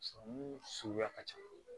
Sɔrɔmu suguya ka ca